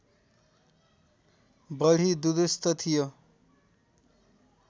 बढी दुरूस्त थियो